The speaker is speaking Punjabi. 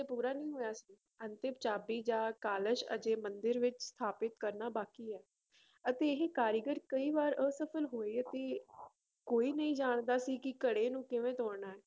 ਪੂਰਾ ਨਹੀਂ ਹੋਇਆ ਸੀ ਅੰਤਿਮ ਚਾਬੀ ਜਾਂ ਕਲਸ਼ ਹਜੇ ਮੰਦਿਰ ਵਿੱਚ ਸਥਾਪਿਤ ਕਰਨਾ ਬਾਕੀ ਹੈ ਅਤੇ ਇਹ ਕਾਰੀਗਰ ਕਈ ਵਾਰ ਅਸਫ਼ਲ ਹੋਏ ਅਤੇ ਕੋਈ ਨਹੀਂ ਜਾਣਦਾ ਸੀ ਕਿ ਘੜੇ ਨੂੰ ਕਿਵੇਂ ਤੋੜਨਾ ਹੈ